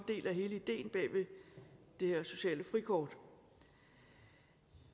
del af hele ideen bag ved det her sociale frikort